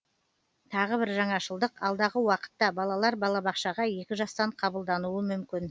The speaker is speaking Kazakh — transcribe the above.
тағы бір жаңашылдық алдағы уақытта балалар балабақшаға екі жастан қабылдануы мүмкін